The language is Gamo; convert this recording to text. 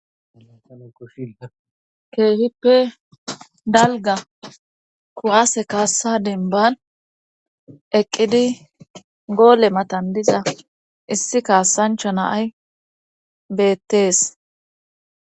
Kehippe dalgga kuwase kaassa denban eqqidi goole matan diza issi kassancha naay beettees